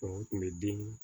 u tun bɛ den